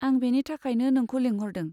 आं बेनि थाखायनो नोंखौ लेंहरदों।